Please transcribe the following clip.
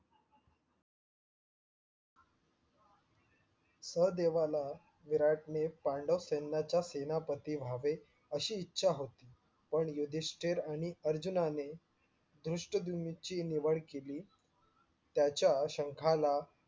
सहदेवाला विराटने पांडवा सेनाचा सेनापती व्हावे अशी इच्छा होती. पण युधिष्टिर आणि अर्जुनाने दृष्टद्युम्न निवड केली. त्याचा शंखाना